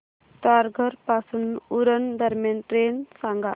तारघर पासून उरण दरम्यान ट्रेन सांगा